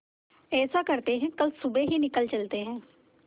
ऐसा करते है कल सुबह ही निकल चलते है